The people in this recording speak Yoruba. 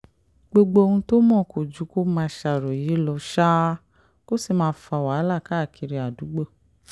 gbogbo ohun tó mọ̀ kò ju kó máa ṣàròyé lọ ṣáá kó sì máa fa wàhálà káàkiri àdúgbò